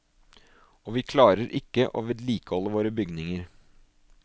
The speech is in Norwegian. Og vi klarer ikke å vedlikeholde våre bygninger.